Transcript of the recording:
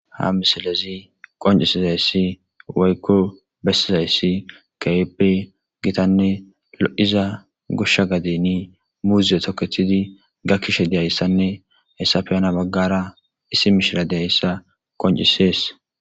ha misilezi qoncisizayssi waykko bessizayssi gaebe gitanne lo7iza goshsha gadini muuzie tokethidi gakkishe diyayssanne hessafeyana baggara issi mishira deyssa qoncisees